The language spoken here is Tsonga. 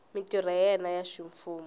mintirho ya yena ya ximfumo